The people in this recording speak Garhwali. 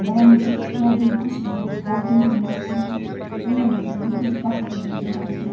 भैणी च नदी म कुछ लोग बोटिंग कना छिन इने बटे भी कुछ पत्थर दिखेणा छिन।